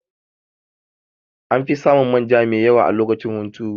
Anfi samun manja mai yawa a lokacin hunturu